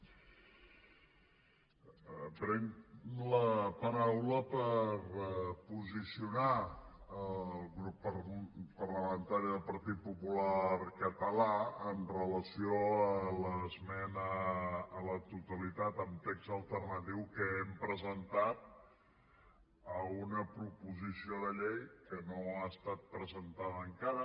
prenc la paraula per posicionar el grup parlamentari del partit popular català amb relació a l’esmena a la totalitat amb text alternatiu que hem presentat a una proposició de llei que no ha estat presentada encara